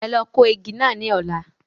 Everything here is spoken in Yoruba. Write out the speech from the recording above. Ẹ lọ kó igi náà ní ọ̀la.